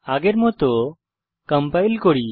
আগের মত কম্পাইল করি